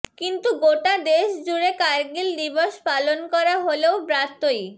কিন্তু গোটা দেশ জুড়ে কারগিল দিবস পালন করা হলেও ব্রাত্যই